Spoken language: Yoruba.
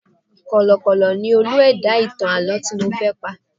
Kọ̀lọ̀kọ̀kọ̀ ni Olú ẹ̀dá ìtàn àlọ́ tí mo fẹ́ pa.